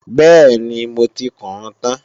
Bẹ́ẹ̀ni, mo ti kùún tán